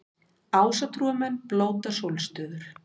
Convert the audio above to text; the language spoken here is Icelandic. Ásatrúarmenn blóta sólstöður